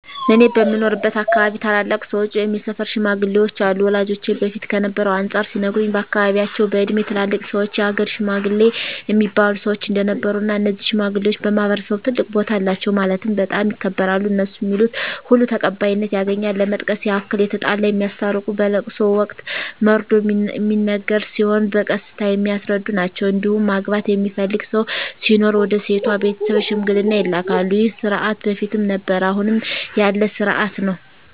እኔ በምኖርበት አካባቢ ታላላቅ ሰዎች ወይም የሰፈር ሽማግሌዎች አሉ ወላጆቼ በፊት ከነበረው አንፃር ሲነግሩኝ በአካባቢያቸው በእድሜ ትላልቅ ሰዎች የሀገር ሽማግሌ እሚባሉ ሰዎች እንደነበሩ እና እነዚህ ሽማግሌዎች በማህበረሰቡ ትልቅ ቦታ አላቸው ማለትም በጣም ይከበራሉ እነሡ ሚሉት ሁሉ ተቀባይነት ያገኛል ለመጥቀስ ያክል የተጣላ የሚያስታርቁ በለቅሶ ወቅት መርዶ ሚነገር ሲሆን በቀስታ የሚያስረዱ ናቸዉ እንዲሁም ማግባት የሚፈልግ ሰው ሲኖር ወደ ሴቷ ቤተሰብ ሽምግልና ይላካሉ ይህ ስርዓት በፊትም ነበረ አሁንም ያለ ስርአት ነው።